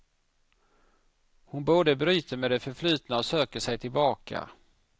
Hon både bryter med det förflutna och söker sig tillbaka.